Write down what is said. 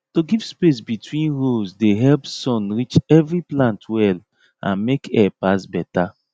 to give space between rows dey help sun reach every plant well and make air pass better